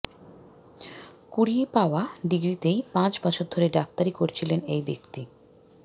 কুড়িয়ে পাওয়া ডিগ্রিতেই পাঁচ বছর ধরে ডাক্তারি করছিলেন এই ব্যক্তি